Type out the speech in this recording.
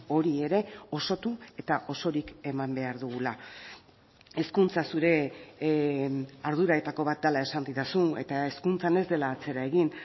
hori ere osotu eta osorik eman behar dugula hezkuntza zure arduretako bat dela esan didazu eta hezkuntzan ez dela atzera egin